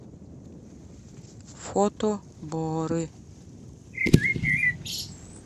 фото боры